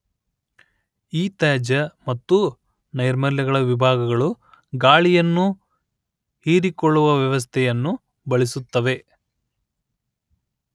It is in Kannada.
ಈ ತ್ಯಾಜ್ಯ ಮತ್ತು ನೈರ್ಮಲ್ಯ ವಿಭಾಗಗಳು ಗಾಳಿಯನ್ನು ಹೀರಿಕೊಳ್ಳುವ ವ್ಯವಸ್ಥೆಯನ್ನು ಬಳಸುತ್ತವೆ